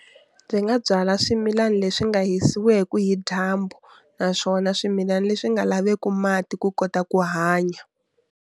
Byi nga byala swimilani leswi nga hisiweku hi dyambu, naswona swimilani leswi nga laveku mati ku kota ku hanya.